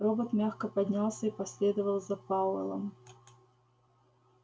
робот мягко поднялся и последовал за пауэллом